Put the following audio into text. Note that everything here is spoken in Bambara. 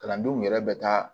Kalandenw yɛrɛ bɛ taa